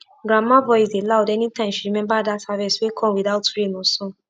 grandma voice dey loud any time she remember that harvest wey come without rain or sun